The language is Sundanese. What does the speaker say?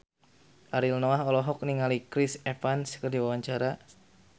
Ariel Noah olohok ningali Chris Evans keur diwawancara